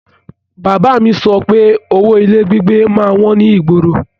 Bàbá a mi sọ pé owó ilé gbígbé má ń wọ́n ní ìgboro